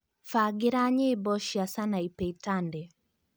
mbangĩra nyĩmbo cia Sanapei Tande